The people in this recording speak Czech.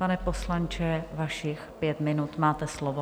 Pane poslanče, vašich pět minut, máte slovo.